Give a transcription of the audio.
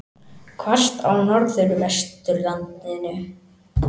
Hvasst á Norðvesturlandi